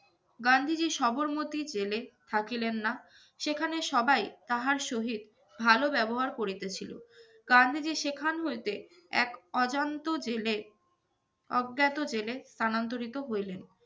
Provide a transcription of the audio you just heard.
গান্ধীজী সবরমতি জেলে থাকিলেন না। সেখানে সবাই তাহার সহিত ভালো ব্যবহার করিতেছিল। গান্ধীজি সেখান হইতে এক অজান্ত জেলে অজ্ঞাত জেলে স্থানান্তরিত হইলেন।